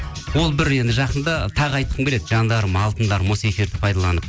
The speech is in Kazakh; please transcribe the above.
ол бір енді жақында тағы айтқым келеді жандарым алтындарым осы эфирді пайдаланып